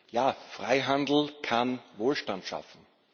Ja, Freihandel kann Wohlstand schaffen.